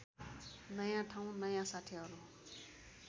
नयाँ ठाउँ नयाँ साथीहरू